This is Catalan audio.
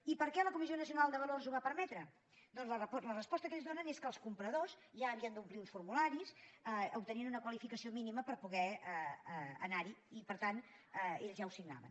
i per què la comissió nacional del mercat de valors ho va permetre doncs la resposta que ells donen és que els compradors ja havien d’omplir uns formularis obtenint una qualificació mínima per poder anar hi i per tant ells ja ho signaven